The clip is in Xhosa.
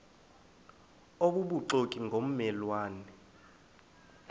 obubuxoki ngomme lwane